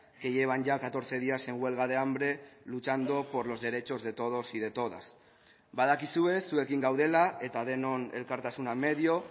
que llevan ya catorce días en huelga de hambre luchando por los derechos de todos y de todas badakizue zuekin gaudela eta denon elkartasuna medio